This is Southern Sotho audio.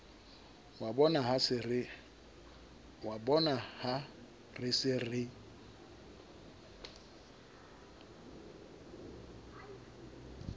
wa bonaha re se re